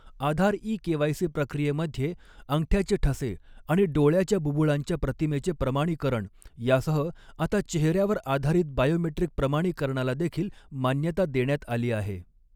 आधार e KYC प्रक्रियेमध्ये अंगठ्याचे ठसे आणि डोळ्याच्या बुबुळांच्या प्रतिमेचे प्रमाणीकरण यासह आता चेहेऱ्यावर आधारित बायोमेट्रिक प्रमाणीकरणाला देखील मान्यता देण्यात आली आहे.